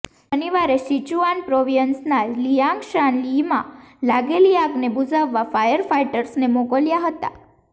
શનિવારે સિચુઆન પ્રોવિયન્સના લિઆંગશાન યીમાં લાગેલી આગને બૂઝાવવા ફાયર ફાઇટર્સને મોકલ્યા હતા